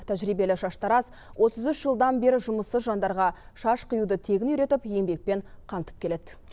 тәжірибелі шаштараз отыз үш жылдан бері жұмыссыз жандарға шаш қиюды тегін үйретіп еңбекпен қамтып келеді